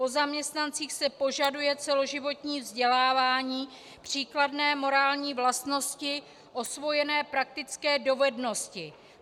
Po zaměstnancích se požaduje celoživotní vzdělávání, příkladné morální vlastnosti, osvojené praktické dovednosti.